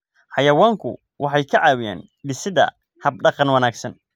Xayawaanku waxay ka caawiyaan dhisidda hab-dhaqan wanaagsan.